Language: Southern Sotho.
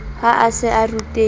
ha a se a rutehile